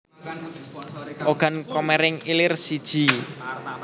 Ogan Komering Ilir siji